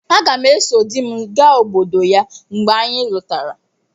Aga m eso di m aga n'obodo ya mgbe anyị luchara.